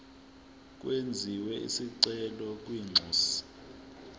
kwenziwe isicelo kwinxusa